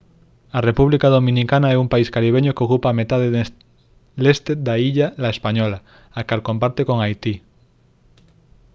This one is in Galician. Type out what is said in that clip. a república dominicana é un país caribeño que ocupa a metade leste da illa la española a cal comparte con haití